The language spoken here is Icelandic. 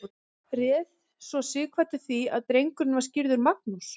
réð svo sighvatur því að drengurinn var skírður magnús